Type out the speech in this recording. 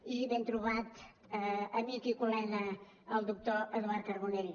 i ben trobat amic i col·lega el doctor eduard carbonell